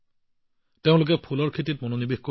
তেওঁলোকে ফুলৰ খেতিলৈ ঘূৰি আহিছিল